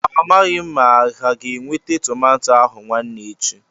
A maghị m ma ha ga-eweta tomato ahụ nwaane echi.